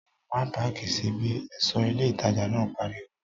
Má páàkì sí bí! ẹ̀ṣọ́ ilé ìtajà náà pariwo